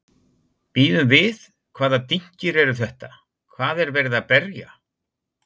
Bíðum við, hvaða dynkir eru þetta, hvað er verið að berja?